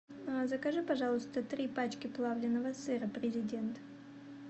закажи пожалуйста три пачки плавленного сыра президент